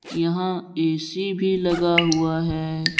यहां ऐ_सी भी लगा हुआ है।